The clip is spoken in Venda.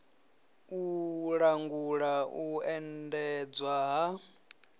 u langula u endedzwa ha